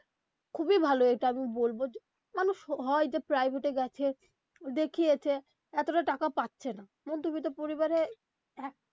খুবই ভালো এটা আমি বলবো মানুষ হয় যে private এ গেছে দেখিয়েছে এতটা টাকা পারছে না মধ্যবিত্ত পরিবারে.